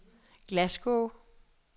Glasgow